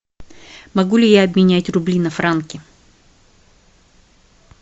могу ли я обменять рубли на франки